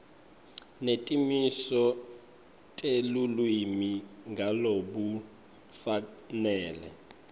netimiso telulwimi ngalokufanele